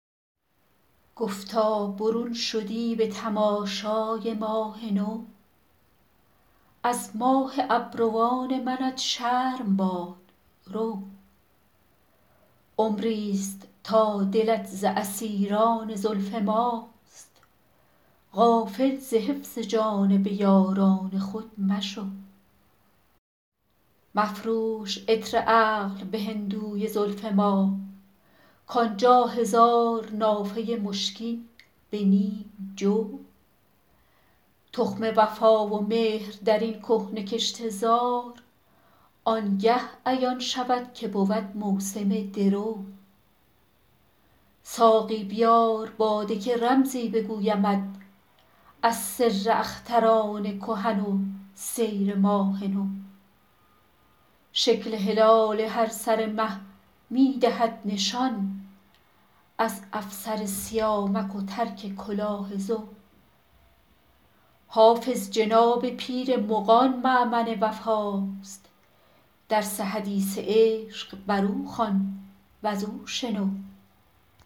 گفتا برون شدی به تماشای ماه نو از ماه ابروان منت شرم باد رو عمری ست تا دلت ز اسیران زلف ماست غافل ز حفظ جانب یاران خود مشو مفروش عطر عقل به هندوی زلف ما کان جا هزار نافه مشکین به نیم جو تخم وفا و مهر در این کهنه کشته زار آن گه عیان شود که بود موسم درو ساقی بیار باده که رمزی بگویمت از سر اختران کهن سیر و ماه نو شکل هلال هر سر مه می دهد نشان از افسر سیامک و ترک کلاه زو حافظ جناب پیر مغان مأمن وفاست درس حدیث عشق بر او خوان و زو شنو